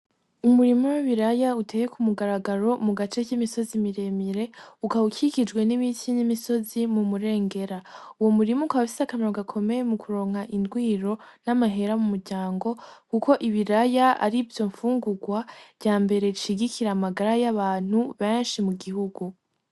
Umurima w'ibiraya uteye k'umugaragaro mu gace k'imisozi miremire, ukaba ukikijwe n'ibiti n'imisozi m'umurengera, uwo murima ukaba ufise akamaro gakomeye mu kuronka indwiro, n'amahera m'umuryango kuko ibaraya arivyo fungurwa rya mbere rishigikira amagara y'abantu benshi mu gihugu.